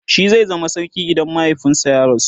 shi zai zama sarki idan mahaifinsu ya rasu